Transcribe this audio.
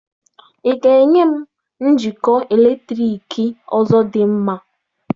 Ị ga-enye m njikọ eletriki ọzọ dị mma?